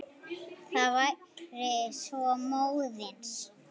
Það væri svo móðins.